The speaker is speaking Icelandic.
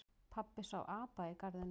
Pabbi sá apa í garðinum.